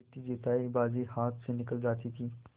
जीतीजितायी बाजी हाथ से निकली जाती थी